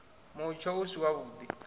mutsho u si wavhuḓi na